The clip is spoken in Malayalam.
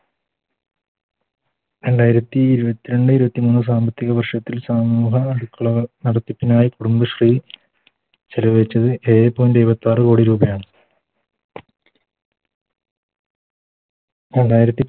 രണ്ടായിരത്തി ഇരുപത്തിരണ്ട് ഇരുപത്തിമൂന്ന് സാമ്പത്തിക വർഷത്തിൽ കുടുംബശ്രീ ചെലവഴിച്ചത് ഏഴേ Point എഴുപത്താറ് കോടി രൂപയാണ് രണ്ടായിരത്തി